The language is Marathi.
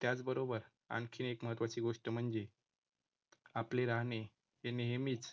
त्याचबरोबर आणखीन एक महत्त्वाची गोष्ट म्हणजे आपले राहणे ते नेहमीच